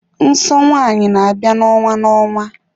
Nsọ nwanyị n'abia na-onwa na-onwa.